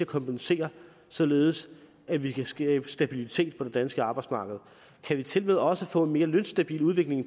kompensere således at vi kan skabe stabilitet på det danske arbejdsmarked kan vi tilmed også få en mere lønstabil udvikling i